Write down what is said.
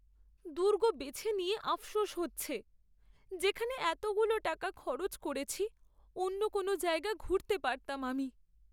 দুর্গ বেছে নিয়ে আফসোস হচ্ছে, যেখানে এতগুলো টাকা খরচ করেছি অন্য কোনো জায়গা ঘুরতে পারতাম আমি!